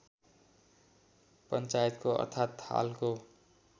पञ्चायतको अर्थात् हालको